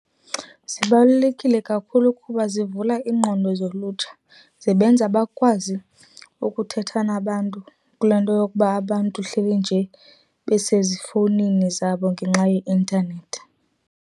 Zibalulekile kakhulu kuba zivula iingqondo zolutsha. Zibenza bakwazi ukuthetha nabantu, kulaa nto yokuba abantu hleli nje besezifowunini zabo ngenxa yeintanethi.